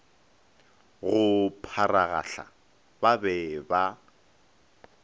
go pharagahla ba be ba